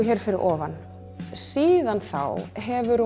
hér fyrir ofan siðan þá hefur